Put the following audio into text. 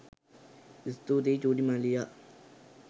ස්තුතියි චුටි මල්ලියා